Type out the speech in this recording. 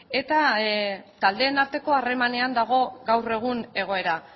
eta taldeen arteko harremanean dago gaur egun egoera